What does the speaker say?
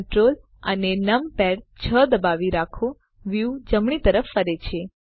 Ctrl અને નંપાડ 6 દબાવી રાખો વ્યુ જમણી તરફ ફરે છે